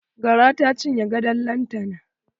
Gara ta cinye gadon lantana.